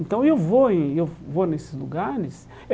Então eu vou em eu vou nesses lugares. É